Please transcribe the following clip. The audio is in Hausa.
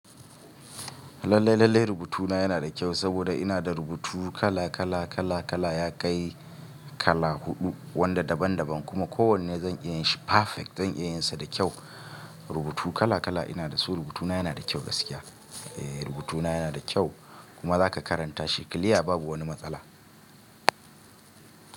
Lallai, lallai rubutuna yana da kyau saboda ina da rubutu kala, kala, kala, kala, ya kai kala huɗu wanda daban daban kuma kowanne zan iya yin shi perfect. Zan iya yin sa da kyau. Rubutu kala kala ina da su, rubutuna yana da kyau gaskiya. Eh rubutuna yana da kyau kuma za ka karanta shi clear babu wani matsala.